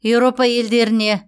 европа елдеріне